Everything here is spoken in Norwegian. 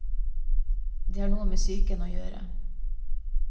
Det har noe med psyken å gjøre.